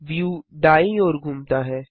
view दायीं ओर घूमता है